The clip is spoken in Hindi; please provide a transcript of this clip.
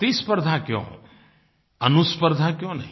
प्रतिस्पर्द्धा क्यों अनुस्पर्द्धा क्यों नहीं